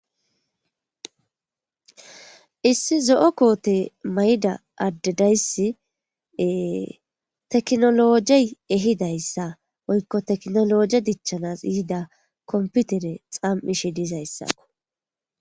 issi zo7o koote mayda addedayssi teknologey ehidayssa woykko teknoloje dichchanas iyida komputere xam7ishe dizayssakko